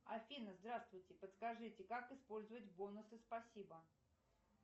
афина здравствуйте подскажите как использовать бонусы спасибо